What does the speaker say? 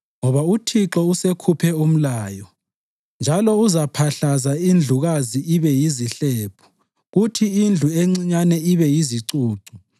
Ngoba uThixo usekhuphe umlayo, njalo uzaphahlaza indlukazi ibe yizihlephu kuthi indlu encinyane ibe yizicucu.